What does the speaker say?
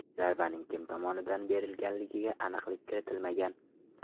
Zarbaning kim tomonidan berilganiga aniqlik kiritilmagan.